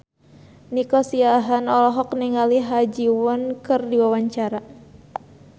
Nico Siahaan olohok ningali Ha Ji Won keur diwawancara